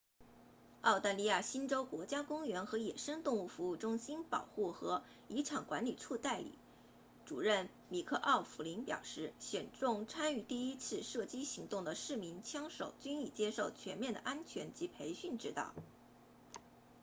澳大利亚新州国家公园和野生动物服务中心 npws 保护和遗产管理处代理主任米克奥弗林 mick o'flynn 表示选中参与第一次射击行动的四名枪手均已接受全面的安全及培训指导